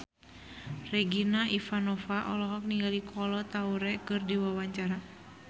Regina Ivanova olohok ningali Kolo Taure keur diwawancara